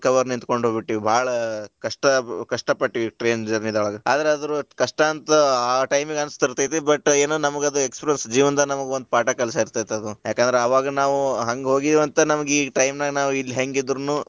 Hour ನಿಂತಕೊಂಡ ಹೋಗ್ಬಿಟ್ಟಿವಿ ಬಾಳ ಕಷ್ಟ ಕಷ್ಟ ಪಟ್ಟಿವಿ train journey ದೊಳಗ ಅದ್ರ ಅದು ಕಷ್ಟ ಅಂತ ಆ time ಗ ಅನಸ್ತಿರತೆತಿ but ನಮಗ ಅದ experience , ಜೀವನದಾಗ ನಮಗ ಒಂದ ಪಾಠ ಕಲಿಸಿರತೇತಿ ಯಾಕಂದ್ರ ಅವಾಗ ನಾವು ಹಂಗ ಹೋಗಿವಿ ಅಂತ ನಮಗ ಈ time ನಾಗ ಇಲ್ಲಿ ಹೆಂಗ ಇದ್ರೂನು.